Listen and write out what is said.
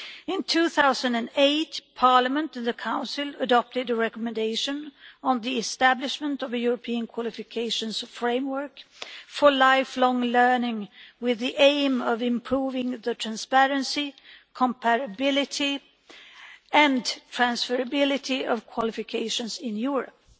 In 2008, Parliament and the Council adopted a recommendation on the establishment of a European Qualifications Framework for lifelong learning with the aim of improving the transparency, comparability and transferability of qualifications in Europe.